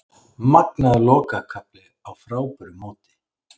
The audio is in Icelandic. Magnaður lokakafli á frábæru móti